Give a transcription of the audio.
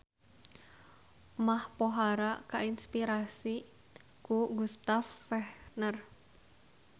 Mach pohara kainspirasi ku Gustav Fechner